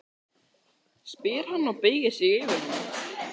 spyr hann og beygir sig yfir hana.